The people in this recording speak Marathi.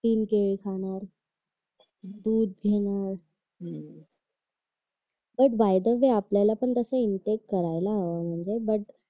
तीन केळी खाणार दूध घेणार पण बाय द वे आपल्याला असं इंटेक करायला पाहिजे तस